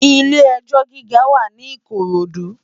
Ilé èjò gigá wá ni Ikorodu